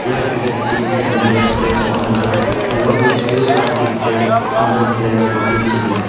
there are cricket and bags place on the grass along with a few plastic chairs on their flag sitting